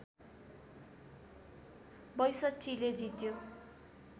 ६२ ले जित्यो